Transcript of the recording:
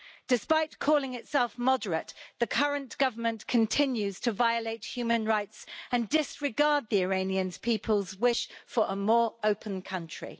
Despite calling itself moderate, the current government continues to violate human rights and disregard the Iranian people's wish for a more open country.